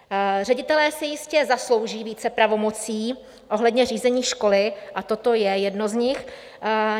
Ředitelé si jistě zaslouží více pravomocí ohledně řízení školy a toto je jedno z nich.